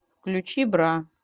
включи бра